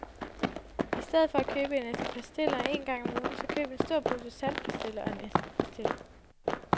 I stedet for at købe en æske pastiller en gang om ugen, så køb en stor pose saltpastiller og en æske pastiller.